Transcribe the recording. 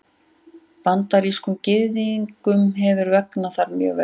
Bandarískum Gyðingum hefur vegnað þar mjög vel.